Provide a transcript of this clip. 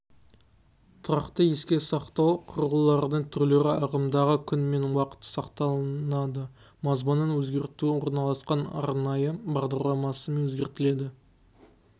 тұрақты еске сақтау құрылғыларының түрлері ағымдағы күн мен уақыт сақталынады мазмұнын өзгерту орналасқан арнайы бағдарламасымен өзгертіледі